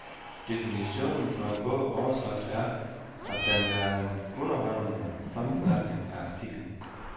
Definitionen på en god overskrift er, at den er en underholdende sammenfatning af artiklen.